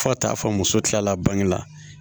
Fo ka taa fɔ muso tilala bange la